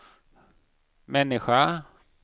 människa